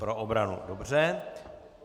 Pro obranu, dobře.